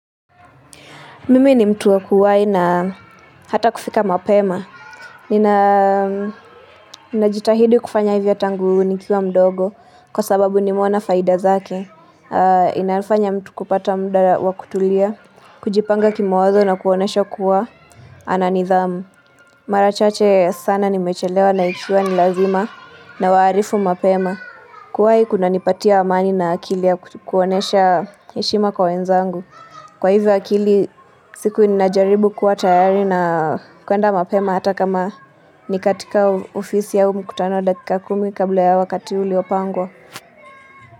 Mimi ni mtu wa kuwai na hata kufika mapema. Ninajitahidi kufanya hivyo tangu nikiwa mdogo kwa sababu nimeona faida zake. Inayofanya mtu kupata muda wa kutulia, kujipanga kimawazo na kuonesha kuwa ana nidhamu. Mara chache sana nimechelewa na ikuwa ni lazima nawaarifu mapema. Kuwai kunanipatia amani na akili ya kuonesha heshima kwa wenzangu. Kwa hivyo akili siku ninajaribu kuwa tayari na kuenda mapema hata kama ni katika ofisi ya mkutano dakika kumi kabla ya wakati uliopangwa.